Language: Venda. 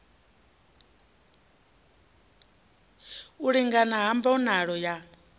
u lingana ha mbonalo ya